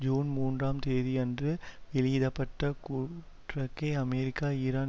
June மூன்றாம் தேதியன்று வெளியிட பட்ட கூட்றிக்கை அமெரிக்கா ஈரான்